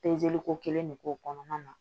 ko kelen de k'o kɔnɔna na